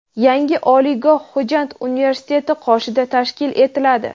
Yangi oliygoh Xo‘jand universiteti qoshida tashkil etiladi.